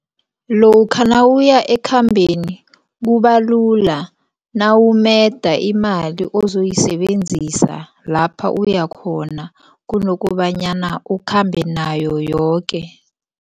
Lokha nawuya ekhambeni kubalula nawumeda imali ozoyisebenzisa lapha uyakhona kunokobanyana ukhambe nayo yoke.